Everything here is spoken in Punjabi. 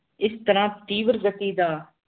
ਏਸ ਤਰ੍ਹਾਂ ਤੇਵਰ ਜਾਫੀ ਦਾ